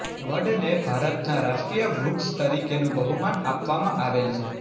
વડને ભારતનાં રાષ્ટ્રીય વૃક્ષ તરીકેનું બહુમાન આપવામાં આવેલ છે